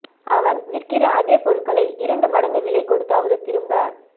அவன் விற்கிற அதே பொருள்களை இரண்டு மடங்கு விலை கொடுத்தாவது திரும்ப